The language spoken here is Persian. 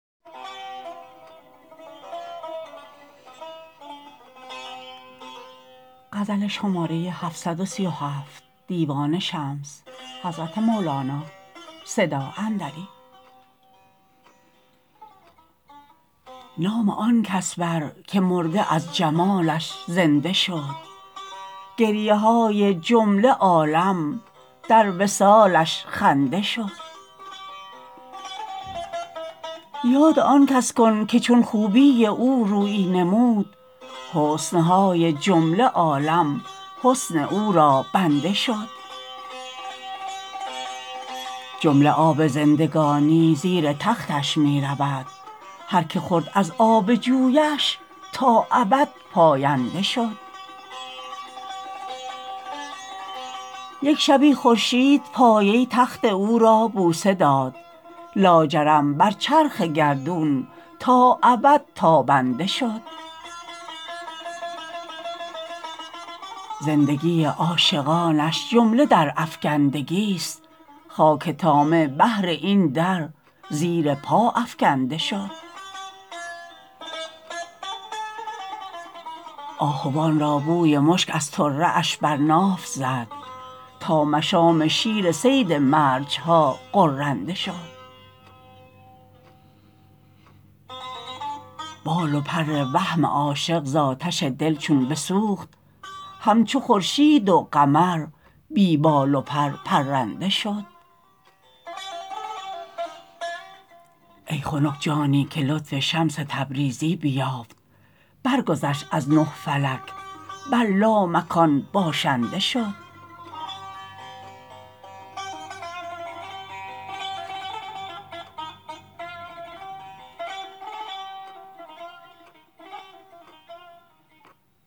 نام آن کس بر که مرده از جمالش زنده شد گریه های جمله عالم در وصالش خنده شد یاد آن کس کن که چون خوبی او رویی نمود حسن های جمله عالم حسن او را بنده شد جمله آب زندگانی زیر تختش می رود هر کی خورد از آب جویش تا ابد پاینده شد یک شبی خورشید پایه تخت او را بوسه داد لاجرم بر چرخ گردون تا ابد تابنده شد زندگی عاشقانش جمله در افکندگی ست خاک طامع بهر این در زیر پا افکنده شد آهوان را بوی مشک از طره اش بر ناف زد تا مشام شیر صید مرج ها غرنده شد بال و پر وهم عاشق ز آتش دل چون بسوخت همچو خورشید و قمر بی بال و پر پرنده شد ای خنک جانی که لطف شمس تبریزی بیافت برگذشت از نه فلک بر لامکان باشنده شد